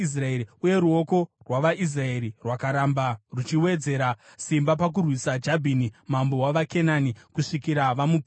Uye ruoko rwavaIsraeri rwakaramba ruchiwedzera simba pakurwisa Jabhini, mambo wavaKenani kusvikira vamuparadza.